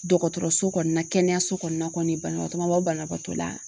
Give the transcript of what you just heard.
Dɔgɔtɔrɔso kɔnɔna kɛnɛyaso kɔnɔna kɔni banabagatɔ ma bɔ banabaatɔ la